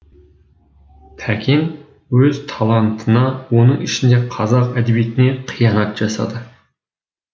тәкен өз талантына оның ішінде қазақ әдебиетіне қиянат жасады